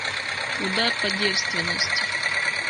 удар по девственности